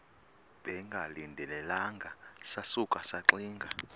bengalindelanga sasuka saxinga